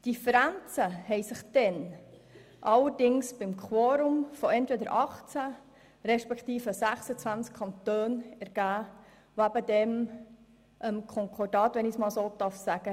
Differenzen ergaben sich damals allerdings beim Quorum vom entweder 18 respektive 26 Kantonen, welche damals dem Konkordat hätten beitreten müssen.